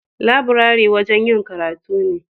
Laburare wajen yin karatu ne.